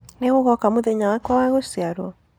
Nĩ ũgoka mũthenya wakwa wa gũciarwo?